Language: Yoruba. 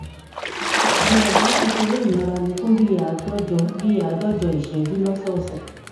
gbìyànjú láti ṣe eré ìmáralé fún bí i àádọjọ bí i àádọjọ ìṣẹjú lósọọsẹ